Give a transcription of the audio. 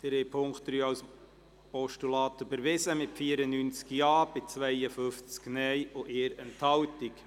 Sie haben die Ziffer3 als Postulat überwiesen, mit 94 Ja- gegen 52 Nein-Stimmen bei 1 Enthaltung.